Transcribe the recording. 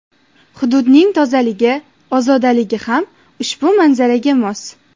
Hududning tozaligi, ozodaligi ham ushbu manzaraga mos.